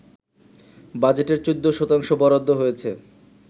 বাজেটের ১৪ শতাংশ বরাদ্দ হয়েছে